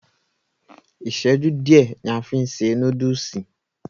Iṣẹju diẹ ni a fí n se núdùùsì.